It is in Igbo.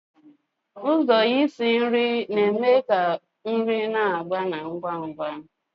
Ụzọ isi nri na-eme ka nri na-agbari ngwa ngwa.